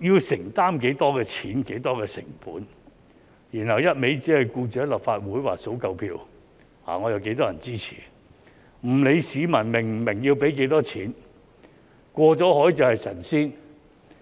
要承擔多少費用、多少成本，然後一味只關心在立法會數夠票，說"我有多少人支持"，不理會市民是否明白要付多少費用，"過了海便是神仙"。